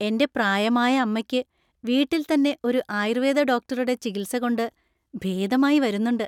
എന്‍റെ പ്രായമായ അമ്മക്ക് വീട്ടിൽ തന്നെ ഒരു ആയുർവേദ ഡോക്ടറുടെ ചികിത്സ കൊണ്ട് ഭേദമായി വരുന്നുണ്ട്.